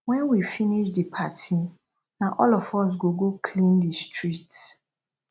wen we finish di party na all of us go clean di street